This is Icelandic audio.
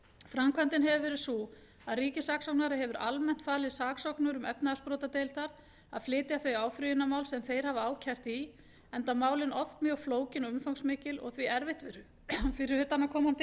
framkvæmdin hefur verið sú að ríkissaksóknari hefur almennt falið saksóknurum efnahagsbrotadeildar að flytja þau áfrýjunarmál sem þeir hafa ákært í enda málin oft mjög flókin og umfangsmikil og því erfitt fyrir utanaðkomandi